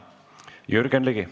Jürgen Ligi.